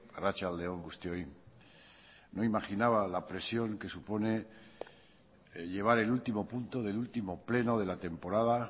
arratsalde on guztioi no imaginaba la presión que supone llevar el último punto del último pleno de la temporada